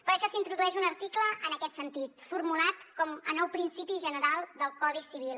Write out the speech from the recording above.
per això s’introdueix un article en aquest sentit formulat com a nou principi general del codi civil